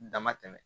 Dama tɛmɛ